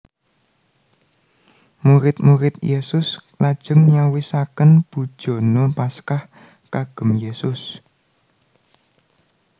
Murid murid Yesus lajeng nyawisaken bujana Paskah kagem Yesus